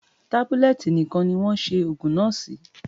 Tábúlẹ̀tì nìkan ni wọ́n ṣe òògùn náà sí.